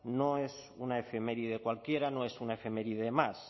no es una efeméride cualquiera no es una efeméride más